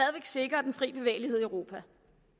sikrer den frie bevægelighed i europa